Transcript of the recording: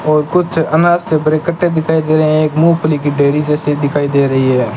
और कुछ अनाज से भरे कट्टे दिखाई दे रहे है एक मूंगफली की ढेरी जैसी दिखाई दे रही है।